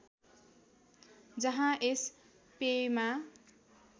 जहाँ यस पेयमा